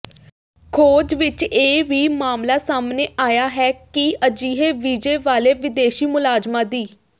ਖੋਜ ਵਿਚ ਇਹ ਵੀ ਮਾਮਲਾ ਸਾਹਮਣੇ ਆਇਆ ਹੈ ਕਿ ਅਜਿਹੇ ਵੀਜ਼ੇ ਵਾਲੇ ਵਿਦੇਸ਼ੀ ਮੁਲਾਜ਼ਮਾਂ ਦੀ